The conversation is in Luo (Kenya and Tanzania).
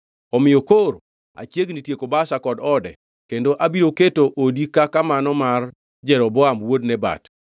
Omiyo koro achiegni tieko Baasha kod ode kendo abiro keto odi kaka mano mar Jeroboam wuod Nebat.